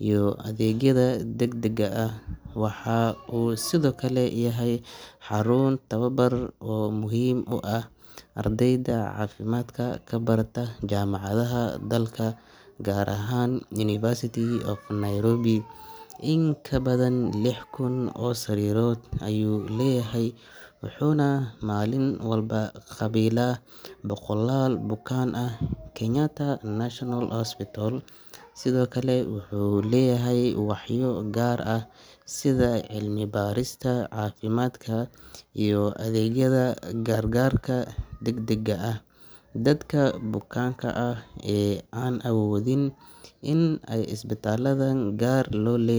iyo adeegyada degdegga ah. Waxa uu sidoo kale yahay xarun tababar oo muhiim u ah ardayda caafimaadka ka barata jaamacadaha dalka, gaar ahaan University of Nairobi. In ka badan lix kun oo sariirood ayuu leeyahay wuxuuna maalin walba qaabilaa boqolaal bukaan ah. Kenyatta National Hospital sidoo kale wuxuu leeyahay waaxyo gaar ah sida cilmi-baarista caafimaadka iyo adeegyada gar-gaarka degdegga ah. Dadka bukaanka ah ee aan awoodin in ay isbitaalada gaar loo lee.